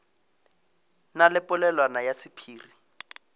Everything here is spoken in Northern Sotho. na le polelwana ya sephiri